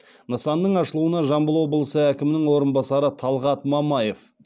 нысанның ашылуына жамбыл облысы әкімінің орынбасары талғат мамаев